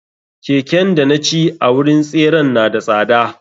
Keken danaci a wurin tseren na da tsada.